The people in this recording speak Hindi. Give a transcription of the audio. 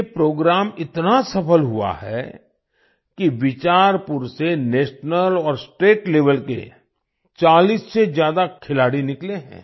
ये प्रोग्राम इतना सफ़ल हुआ है कि बिचारपुर से नेशनल और स्टेट लेवेल के 40 से ज्यादा खिलाड़ी निकले हैं